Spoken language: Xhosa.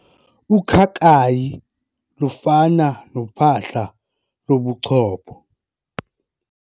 Ukhakayi lufana nophahla lobuchopho.